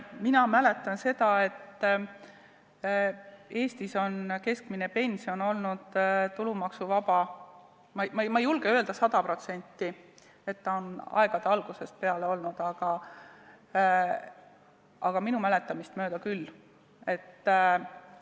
Mina mäletan seda, et Eestis on keskmine pension olnud tulumaksuvaba, ma ei julge sada protsenti öelda, et aegade algusest peale, aga minu mäletamist mööda on see küll nii olnud.